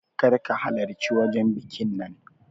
Kar ka halarci wajan bikin nan